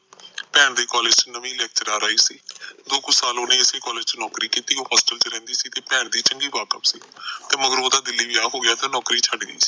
ਭੈਣ ਦੇ ਕਾਲਜ ਚ ਨਵੀ lecture ਆਈ ਸੀ ਦੋ ਕੁ ਸਾਲ ਓਹਨੇ ਇਸੇ ਕਾਲਜ ਨੌਕਰੀ ਕੀਤੀ ਤੇ ਉਹਚ ਰਹਿੰਦੀ ਸੀ ਤੇ ਭੈਣ ਦੇ ਚੰਗੀ ਵਾਕਾਬ ਸੀ ਤੇ ਮਗਰੋਂ ਓਹਦਾ ਦਿੱਲੀ ਵੀਆਹ ਹੋ ਗਿਆ ਤੇ ਨੌਕਰੀ ਛੱਡ ਗਈ